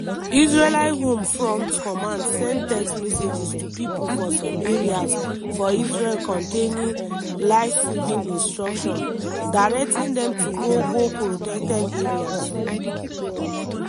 israeli home front command send text messages to pipo for some areas for israel containing "life-saving instructions" directing dem to go go protected areas.